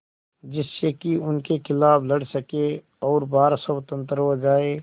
जिससे कि उनके खिलाफ़ लड़ सकें और भारत स्वतंत्र हो जाये